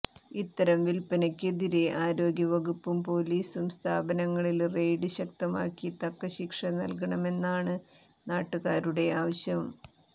ഇത്തരം വില്പനക്കെതിരേ ആരോഗ്യ വകുപ്പും പൊലിസും സ്ഥാപനങ്ങളില് റെയ്ഡ് ശക്തമാക്കി തക്ക ശിക്ഷ നല്കണമെന്നാണ് നാട്ടുകാരുടെ ആവശ്യം